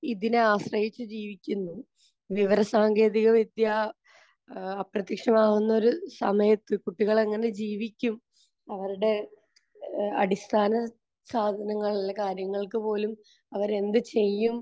ഇതിനെ ആശ്രയിച്ച് ജീവിക്കുന്നു. വിവരസാങ്കേതികവിദ്യ ഏഹ് അപ്രത്യക്ഷമാകുന്നൊരു സമയത്ത് കുട്ടികൾ എങ്ങനെ ജീവിക്കും, അവരുടെ അടിസ്ഥാന സാധനങ്ങൾ, കാര്യങ്ങൾക്ക് പോലും അവരെന്ത് ചെയ്യും